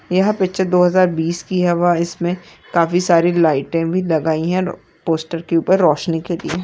यह पिक्चर दो हजार बीस की है व इसमें काफी सारी लाइटे भी लगाई है और पोस्टर के ऊपर रोशनी करी --